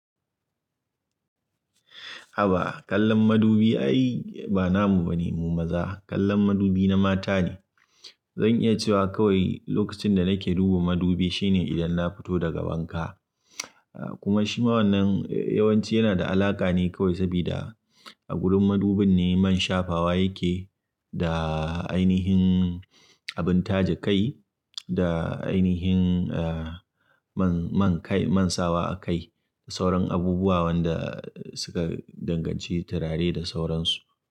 Haba kallon madubi ai ba namu bane mu maza, kallon madubi na mata ne. Zan iya cewa kawai lokacin da nake duban madubi shine idan na fito daga wanka. Kuma shi ma wannan yawanci yana da alaƙa ne kawai sabida a gurin madubin ne man shafawa yake da ainihin abin taje kai da ainihin man, man kai, man sawa akai da sauran abubuwa wanda suka danganci turare da sauransu.